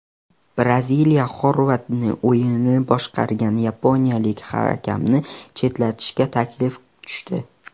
Braziliya Xorvatiya o‘yinini boshqargan yaponiyalik hakamni chetlatish taklifi tushdi.